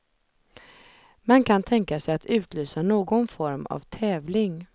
Man kan tänka sig att utlysa någon form av tävling.